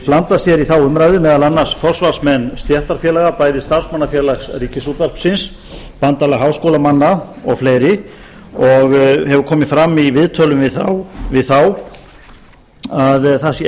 blandað sér í þá umræðu meðal annars forsvarsmenn stéttarfélaga bæði starfsmannafélags ríkisútvarpsins bandalag háskólamanna og fleiri og hefur komið fram í viðtölum við þá að það sé